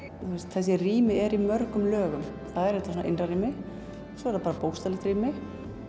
þessi rými eru í mörgum lögum það er þetta innra rými svo er það bókstaflegt rými